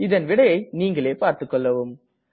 இதன் விடையை நீங்களே பார்த்துக்கொள்ளவும்